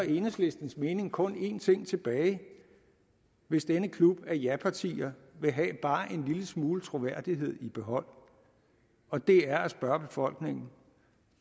enhedslistens mening kun en ting tilbage hvis denne klub af japartier vil have bare en lille smule troværdighed i behold og det er at spørge befolkningen